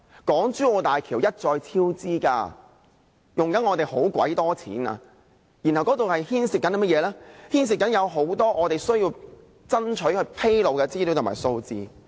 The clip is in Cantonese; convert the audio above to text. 港珠澳大橋項目一再超支，正耗用政府龐大的公帑，當中牽涉很多我們爭取政府披露的資料和數字。